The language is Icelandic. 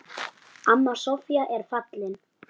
Amma Soffía er fallin.